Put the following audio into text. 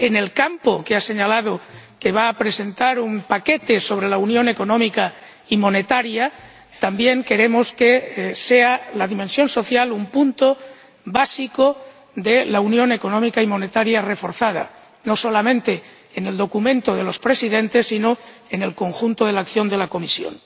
En el campo en el que ha señalado que va a presentar un paquete sobre la unión económica y monetaria, también queremos que sea la dimensión social un punto básico de la unión económica y monetaria reforzada, no solamente en el documento de los Presidentes, sino también en el conjunto de la acción de la Comisión.